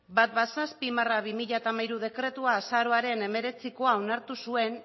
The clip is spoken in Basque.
hamazazpi barra bi mila hamairu dekretua azaroaren hemeretzikoa onartu zuen